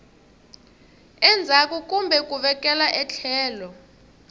endzhaku kumbe ku vekela etlhelo